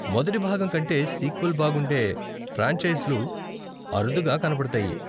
మొదటి భాగం కంటే సీక్వెల్ బాగుండే ఫ్రాంచైజ్లు అరుదుగా కనపడతాయి.